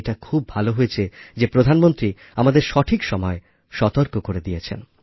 এটা খুব ভালো হয়েছে যে প্রধানমন্ত্রী আমাদের সঠিক সময়ে সতর্ক করে দিয়েছেন